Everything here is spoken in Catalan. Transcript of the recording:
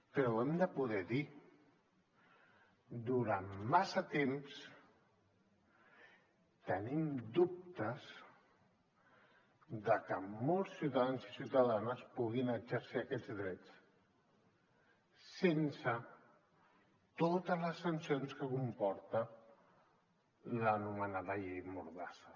però ho hem de poder dir durant massa temps tenim dubtes de que molts ciutadans i ciutadanes puguin exercir aquests drets sense totes les sancions que comporta l’anomenada llei mordassa